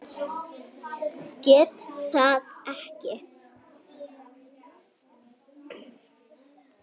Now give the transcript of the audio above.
Geta það ekki.